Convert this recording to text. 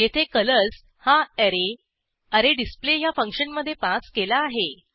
येथे कलर्स हा array array display ह्या फंक्शनमधे पास केला आहे